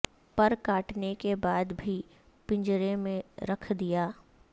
پر کاٹنے کے بعد بھی پنجرے میں رکھ دیا